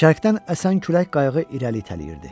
Şərqdən əsən külək qayığı irəli itələyirdi.